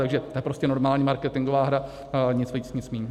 Takže to je prostě normální marketingová hra, nic víc, nic míň.